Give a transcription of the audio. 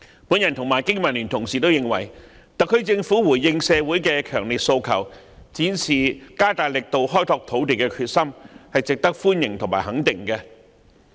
我與香港經濟民生聯盟的議員皆認為，特區政府回應社會的強烈訴求，展示加大力度開拓土地的決心，是值得歡迎和肯定的。